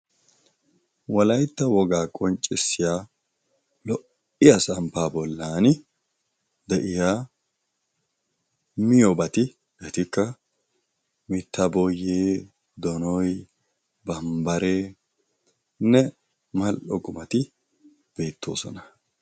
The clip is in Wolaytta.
walaytta wogaa qonccissiya lo77iya samppaa bollani de7iya miyobati etikka mitta boyee, donoynne bambbareenne mal77o qumati beettoosona